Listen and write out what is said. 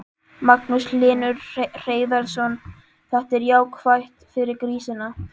Magnús Hlynur Hreiðarsson: Þetta er jákvætt fyrir grísina?